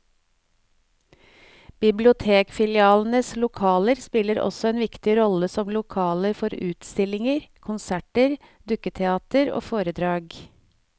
Bibliotekfilialenes lokaler spiller også en viktig rolle som lokaler for utstillinger, konserter, dukketeater og foredrag.